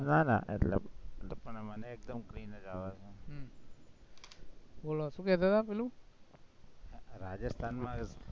ના ના એટલે મને એકદમ clean જ આવે છે રાજસ્થાનમાં